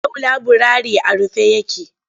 Yau laburare a rufe yake.